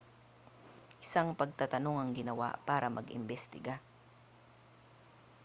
isang pagtatanong ang ginawa para mag-imbestiga